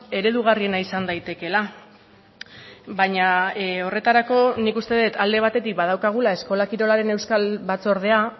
eredugarriena izan daitekeela baina horretarako nik uste dut alde batetik badaukagula eskola kirolaren euskal batzordea